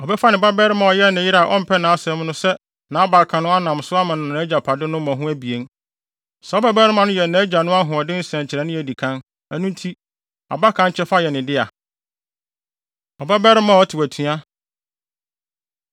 Ɔbɛfa ne babarima a ɔyɛ ɔyere a ɔmpɛ nʼasɛm no sɛ nʼabakan no anam so ama no nʼagyapade no mmɔho abien. Saa ɔbabarima no yɛ nʼagya no ahoɔden nsɛnkyerɛnne a edi kan. Ɛno nti, abakan kyɛfa yɛ ne dea. Ɔbabarima A Ɔtew Atua